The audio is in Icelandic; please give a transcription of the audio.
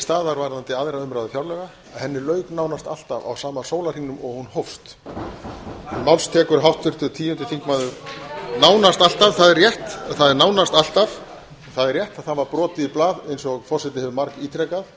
staðar varðandi aðra umræðu fjárlaga henni lauk nánast alltaf á sama sólarhringnum og hún hófst nánast alltaf það er rétt það er nánast alltaf það er rétt að það var brotið í blað eins og forseti hefur margítrekað